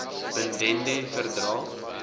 bin dende verdrae